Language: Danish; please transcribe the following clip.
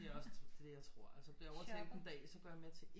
Jamen det er også det jeg tror bliver jeg overtal en dag så går jeg med til én